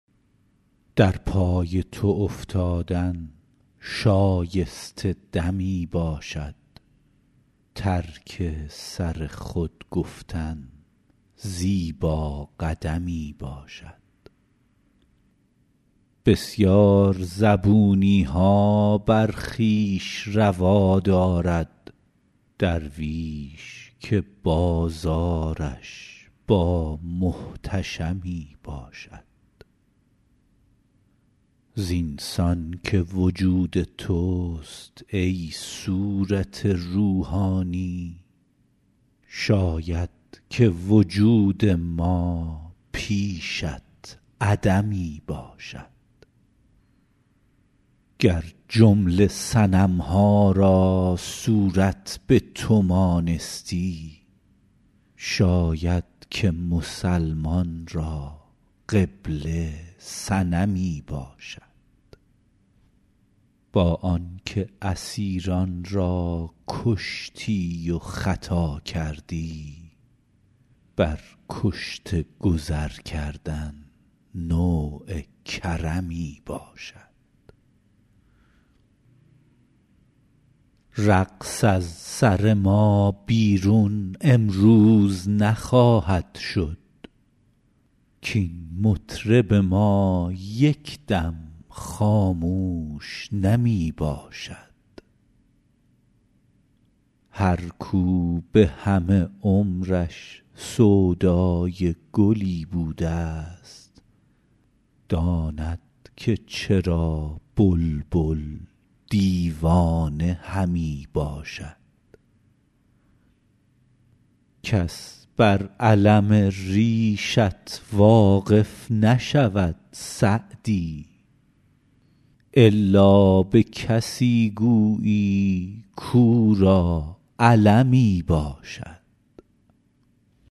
در پای تو افتادن شایسته دمی باشد ترک سر خود گفتن زیبا قدمی باشد بسیار زبونی ها بر خویش روا دارد درویش که بازارش با محتشمی باشد زین سان که وجود توست ای صورت روحانی شاید که وجود ما پیشت عدمی باشد گر جمله صنم ها را صورت به تو مانستی شاید که مسلمان را قبله صنمی باشد با آن که اسیران را کشتی و خطا کردی بر کشته گذر کردن نوع کرمی باشد رقص از سر ما بیرون امروز نخواهد شد کاین مطرب ما یک دم خاموش نمی باشد هر کاو به همه عمرش سودای گلی بوده ست داند که چرا بلبل دیوانه همی باشد کس بر الم ریشت واقف نشود سعدی الا به کسی گویی کاو را المی باشد